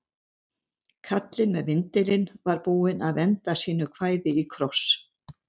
Kallinn með vindilinn var búinn að venda sínu kvæði í kross.